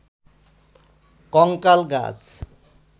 কঙ্কাল গাছ